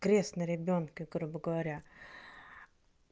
крест на ребёнке грубо говоря